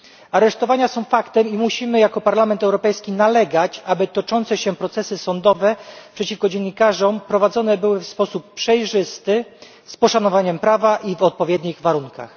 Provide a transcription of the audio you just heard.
Aresztowania są faktem i musimy jako Parlament Europejski nalegać, aby toczące się procesy sądowe przeciwko dziennikarzom prowadzone były w sposób przejrzysty, z poszanowaniem prawa i w odpowiednich warunkach.